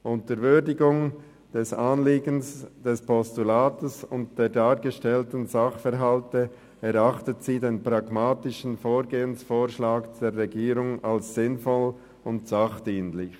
Unter Würdigung des Anliegens des Postulats und der dargestellten Sachverhalte erachtet sie den pragmatischen Vorgehensvorschlag der Regierung als sinnvoll und sachdienlich.